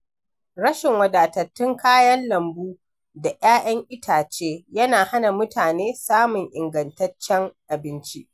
Rashin wadatattun kayan lambu da ‘ya’yan itace yana hana mutane samun ingantaccen abinci.